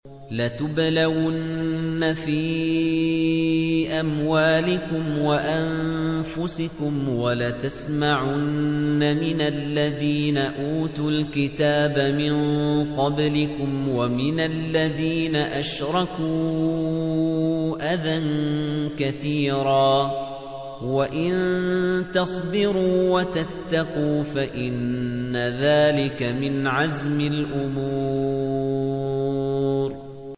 ۞ لَتُبْلَوُنَّ فِي أَمْوَالِكُمْ وَأَنفُسِكُمْ وَلَتَسْمَعُنَّ مِنَ الَّذِينَ أُوتُوا الْكِتَابَ مِن قَبْلِكُمْ وَمِنَ الَّذِينَ أَشْرَكُوا أَذًى كَثِيرًا ۚ وَإِن تَصْبِرُوا وَتَتَّقُوا فَإِنَّ ذَٰلِكَ مِنْ عَزْمِ الْأُمُورِ